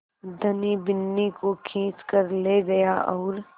धनी बिन्नी को खींच कर ले गया और